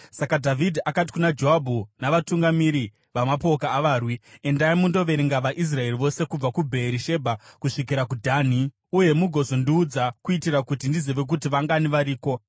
Saka Dhavhidhi akati kuna Joabhu navatungamiri vamapoka avarwi, “Endai mundoverenga vaIsraeri vose kubva kuBheerishebha kusvikira kuDhani. Uye mugozondiudza kuitira kuti ndizive kuti vangani variko.”